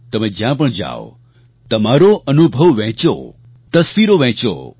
તમે જ્યાં પણ જાવ તમારો અનુભવ વહેંચો તસવીરો વહેંચો